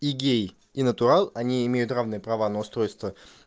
и гей и натурал они имеют равные права на устройство